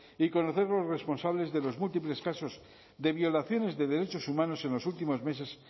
y conocer los responsables de los múltiples casos de violaciones de derechos humanos en los últimos meses